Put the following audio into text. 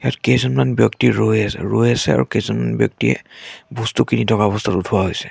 কেইজনমান ব্যক্তি ৰৈ আছে ৰৈ আছে আৰু কেইজনমান ব্যক্তিয়ে বস্তু কিনি থকা অৱস্থাত উঠোৱা হৈছে।